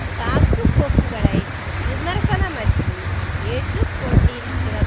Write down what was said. சாக்கு போக்குகளை விமர்சனமற்று ஏற்று கொண்டிருக்கிறது